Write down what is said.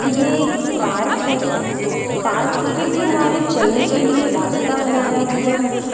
ये एक पार्क है पार्क के किनारे चलने के लिए रास्ता बनाया हुआ है।